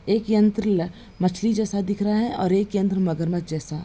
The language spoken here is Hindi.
एक यंत्र मछली जैसा दिख रहा है और एक यंत्र मगरमच्छ जैसा।